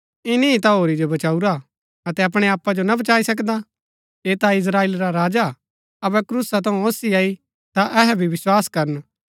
ईनी ता होरी जो बचाऊरा अतै अपणै आपा जो ना बचाई सकदा ऐह ता इस्त्राएल रा राजा हा अबै क्रूसा थऊँ ओसी आई ता अहै भी विस्वास करन